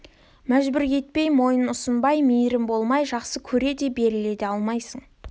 мәжбүр етпей мойын ұсынбас мейірім болмай жақсы көре де беріле де алмайсың